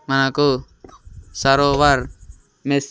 మనకు సరోవర్ మెస్--